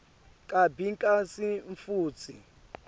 kabi kantsi futsi